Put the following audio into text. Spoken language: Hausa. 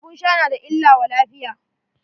Abun sha na da illa wa lafiya.